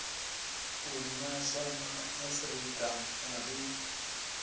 u nwesa maafrika a ri